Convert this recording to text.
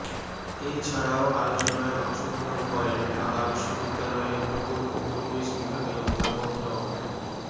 এছাড়াও আলোচনায় অংশগ্রহণ করেন ঢাকা বিশ্ববিদ্যালয়ের ভূগোল ও পরিবেশ বিভাগের অধ্যাপক ড